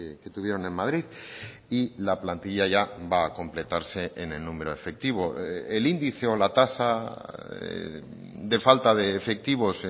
que tuvieron en madrid y la plantilla ya va a completarse en el número efectivo el índice o la tasa de falta de efectivos